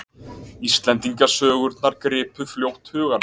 Íslendingasögurnar gripu fljótt hugann.